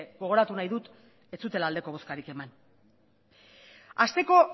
gogoratu nahi dut ez zutela aldeko bozkarik eman hasteko